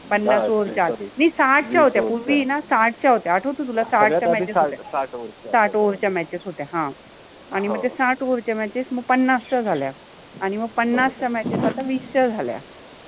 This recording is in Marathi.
पन्नास ओवरच्या नाहि साठ च्या होत्या पुर्वि न साठ च्या होत्या आठ्वतो तुला साठ च्या matches होत्या साठ ओवर साठ ओवर च्या matches होत्या ह न आणी मग त्या साठ ओवरच्या matches पन्नासच्या झाल्या आणि मग त्या पन्नास च्या matches आता विस च्या झाल्या.